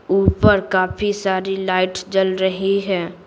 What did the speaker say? ऊपर काफी सारी लाइट जल रही है।